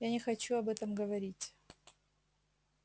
я не хочу об этом говорить